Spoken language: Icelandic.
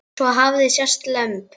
Svo hafa sést lömb.